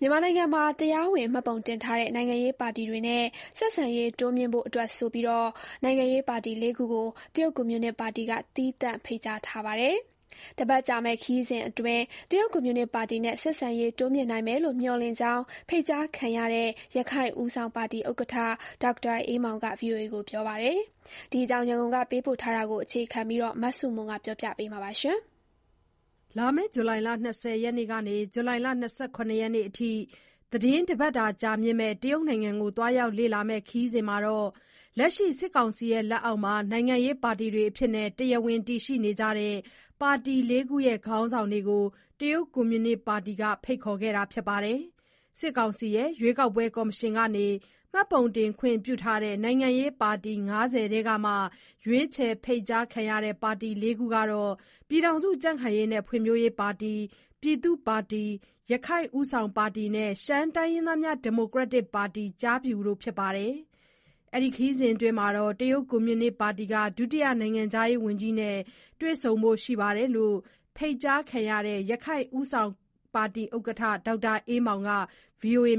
မြန်မာနိုင်ငံမှာ တရား၀င်မှတ်ပုံတင်ထားတဲ့ နိုင်ငံရေးပါတီတွေနဲ့ ဆက်ဆံရေးတိုးမြှင့်ဖို့အတွက်ဆိုပြီး နိုင်ငံရေးပါတီ ၄ ခု ကို တရုတ်ကွန်မြူနစ်ပါတီက သီးသန့် ဖိတ်ကြားထားပါတယ်။ တပတ်ကြာမယ့် ခရီးစဥ်အတွင်း တရုတ်ကွန်မြူနစ်ပါတီနဲ့ ဆက်ဆံရေး တိုးမြှင့်နိုင်မယ်လို့မျှော်လင့်ကြောင်း ဖိတ်ကြားခံရတဲ့ ရခိုင့်ဦးဆောင်ပါတီ ဥက္ကဋ္ဌ ဒေါက်တာအေးမောင်က ဗွီအိုအေကို ပြောပါတယ်။ ဒီအကြောင်း ရန်ကုန်က ပေးပို့တဲ့သတင်းကို အခြေခံပြီး မဆုမွန်က ပြောပြမှာပါ။ ဇူလိုင် ၂၀ ရက်ကနေ ၂၇ ရက်နေ့အထိ သီတင်းတပတ်ကြာ တရုတ်နိုင်ငံကို သွားရောက်လေ့လာမယ့်ခရီးစဥ်မှာ လက်ရှိ စစ်ကောင်စီလက်အောက်မှာ နိုင်ငံရေးပါတီအဖြစ် တရားဝင် တည်ရှိနေကြတဲ့ ပါတီ ၄ ခုရဲ့ ခေါင်းဆောင်တွေကိုပဲ တရုတ်ကွန်မြူနစ်ပါတီက ဖိတ်ခေါ်ထားတာပါ။ စစ်ကောင်စီရဲ့ ရွေးကောက်ပွဲကော်မရှင်ကနေ မှတ်ပုံတင်ခွင့်ပြုထားတဲ့ နိုင်ငံရေးပါတီ ၅၀ နီးပါးထဲက ရွေးချယ်ဖိတ်ကြားခံရတဲ့ ပါတီ ၄ ကတော့ ကြံ့ခိုင်ဖွံ့ဖြိုးရေးပါတီ၊ ပြည်သူ့ပါတီ၊ ရခိုင့်ဦးဆောင်ပါတီနဲ့ ရှမ်းတိုင်းရင်းသားများ ဒီမိုကရက်တစ်ပါတီ တို့ဖြစ်ပါတယ်။ ခရီးစဉ်အတွင်း တရုတ်ကွန်မြူနစ်ပါတီက ဒုတိယ နိုင်ငံခြားရေးဝန်ကြီးနဲ့ တွေ့ဆုံဖို့ရှိတယ်လို့ ဖိတ်ကြားခံရတဲ့ ရခိုင့်ဦးဆောင်ပါတီ ဥက္ကဋ္ဌ ဒေါက်တာ အေးမောင်က ဗွီအိုအေ